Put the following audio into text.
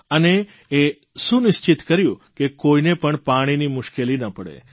અને એ સુનિશ્ચિત કર્યું કે કોઇને પણ પાણીની મુશ્કેલી ન પડે